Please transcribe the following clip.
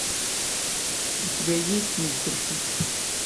у тебя есть мистер пип